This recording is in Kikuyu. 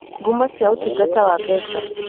Ngumo cia Ũtungata wa Mbeca